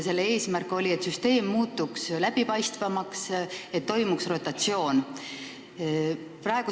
Selle eesmärk oli, et süsteem muutuks läbipaistvamaks, et toimuks rotatsioon.